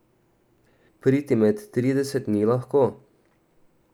Priti med trideset ni lahko.